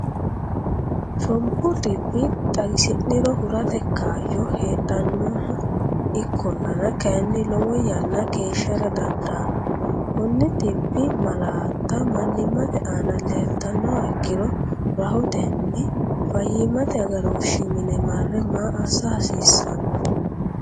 Shombu dhibba xagisi’niro hurate kaayyo heedhanno Ikkollana kayinni, lowo yanna keeshshara dandaanno Konni dhibbi malaatta mannimmate aana leeltannoha ikkiro rahotenni fayyimmate agarooshshi mine marre maa assa hasiissanno?